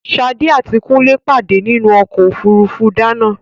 Ṣadé àti Kúnlé pàdé nínú ọ̀kọ̀ ofúrufú Dana